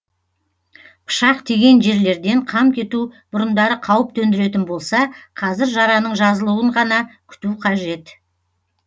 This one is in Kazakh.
пышақ тиген жерлерден қан кету бұрындары қауіп төндіретін болса қазір жараның жазылуын ғана күту қажет